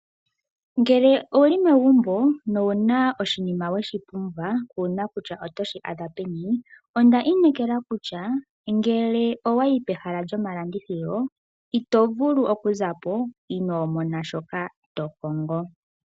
Ngele ouli megumbo no wuna oshinima weshi pumbwa kuuna kutya otoshi adha peni, onda inekela kutya ngele owa yi kehala lyomalandithilo ito vulu oku zapo inoo mona shoka to kongo.